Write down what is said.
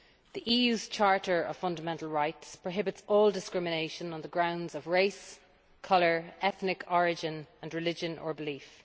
The EU's Charter of Fundamental Rights prohibits all discrimination on the grounds of race, colour, ethnic origin and religion or belief.